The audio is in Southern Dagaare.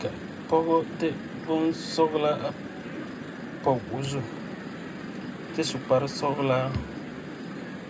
ka pɔgɔ de bonsɔglaa a pɔge o zu kyɛ su kparesɔglaa.